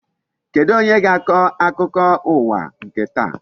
Kedụ onye ga-akọ akụkọ ụwa nke taa?